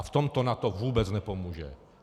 A v tomto NATO vůbec nepomůže.